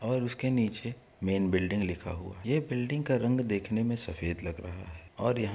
और उसके नीचे मेन बिल्डिंग लिखा हुआ है। ये बिल्डिंग का रंग देखने में सफेद लग रहा है और यहाँ --